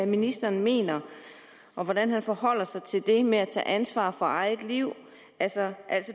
ministeren mener og hvordan han forholder sig til det med at tage ansvar for eget liv altså